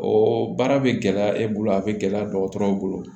O baara bɛ gɛlɛya e bolo a bɛ gɛlɛya dɔgɔtɔrɔw bolo